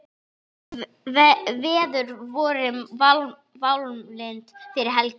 Veður voru válynd fyrir helgi.